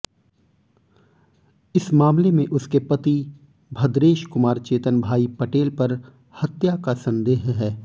इस मामले में उसके पति भद्रेशकुमार चेतनभाई पटेल पर हत्या का संदेह है